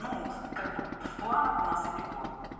ну как бы в планах у нас и питон